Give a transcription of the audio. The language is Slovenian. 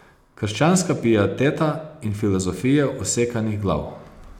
Krščanska pieteta in filozofije usekanih glav.